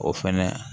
O fɛnɛ